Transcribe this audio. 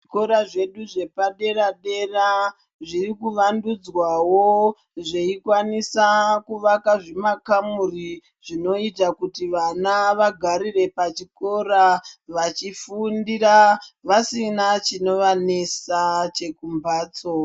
Zvikora zvedu zvepadera dera zviri kuwandudzwa wo zveikwanisa kuvaka zvimakamuri zvinoita kuti vana vagarire pachikora vachifundira vasina chinovanesa chekumhatso.